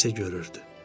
O isə görürdü.